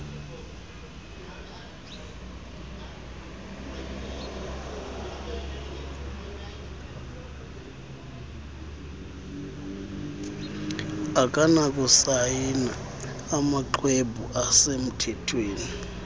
akanakusayina amaxhwebhu asemthethweni